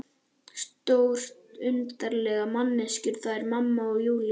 Stórundarlegar manneskjur, þær mamma og Júlía.